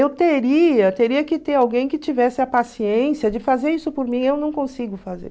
Eu teria, teria que ter alguém que tivesse a paciência de fazer isso por mim, eu não consigo fazer.